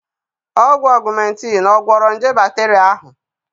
Ọgwụ Augmentin ọ gwọrọ nje bakteria ahụ?